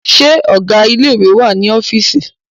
Ṣé ọgá ilé ìwé wà ní ọ́fìísì?